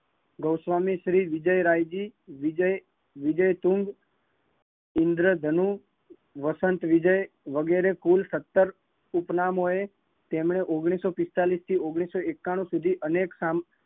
ગૌવામી, વિજયરાયજી, વિજયતુનદ, ઇંદ્રધનુ, વસંતવિજય, વગેરે કુલ સત્તર ઉપનામ હોય તેમને ઓગણીસો પિસ્તાલીસ થી ઓગણીસો એકાનું સુધી અનેક